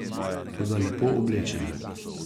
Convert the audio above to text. Toda lepo oblečene.